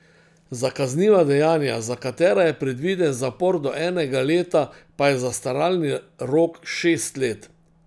Za kazniva dejanja, za katera je predviden zapor do enega leta, pa je zastaralni rok šest let.